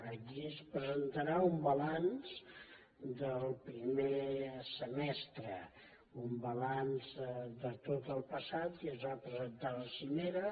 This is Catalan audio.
allí es presentarà un balanç del primer semestre un balanç de tot el passat que ja es va presentar a la cimera